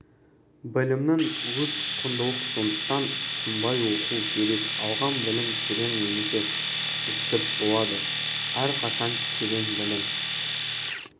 білімнің өзі құндылық сондықтан тынбай оқу керек алған білім терең немесе үстірт болады әрқашан терең білім